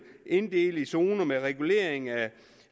inddele i zoner med regulering af